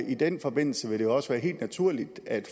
i den forbindelse vil det jo også være helt naturligt at